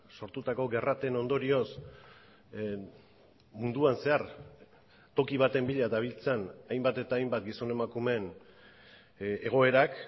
sortutako gerrateen ondorioz munduan zehar toki baten bila dabiltzan hainbat eta hainbat gizon emakumeen egoerak